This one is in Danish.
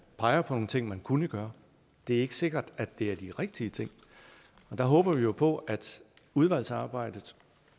peger på nogle ting man kunne gøre det er ikke sikkert at det er de rigtige ting der håber vi jo på at udvalgsarbejdet